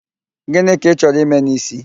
Gịnị ka Ị chọrọ ime n'ísí?